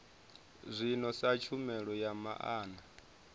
zwino sa tshumelo ya maana